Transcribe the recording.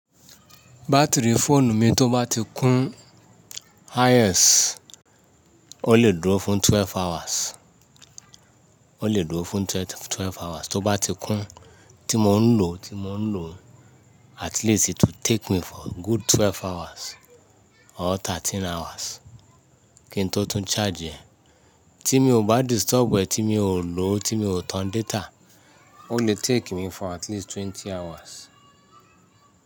Batiri fóònù mi tó bá ti kún highest, o le dúró fún twelve hours, o le dúró fún twelve hours. Tó bá ti kún, tí mo ń lò, tí mo ń lò at least it will take me for good twelve hours or thirteen hours kí n tó tún charge e. Tí mi ò bá disturb e, tí mi ò lò, tí mi ò tan data, o le take mi for at least twenty hours.